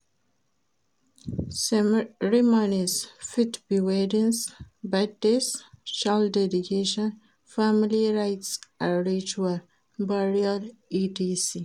Ceremonies fit be weddings, birthdays, child dedication, family rites and ritual, burial etc.